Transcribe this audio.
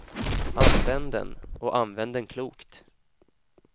Använd den och använd den klokt.